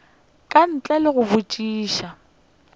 ka ntle le go botšiša